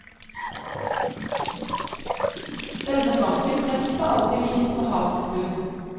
Denne banken har ikke alltid ligget på havets bunn.